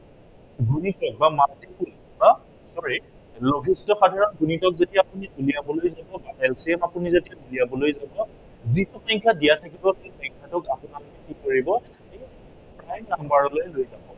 গুণিতক বা multiple বা sorry লঘিষ্ঠ সাধাৰণ গুণিতক যেতিয়া আপুনি উলিয়াবলৈ যাব বা LCM আপুনি যেতিয়া ওলিয়াবলৈ যাব, যিটো সংখ্য়া দিয়া থাকিব, সেই সংখ্য়াটোক আপোনালোকে কি কৰিব prime number লৈ যাব